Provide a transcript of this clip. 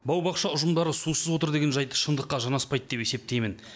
бау бақша ұжымдары сусыз отыр деген жайт шындыққа жанаспайды деп есептеймін